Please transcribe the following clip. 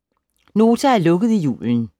Nota har lukket i julen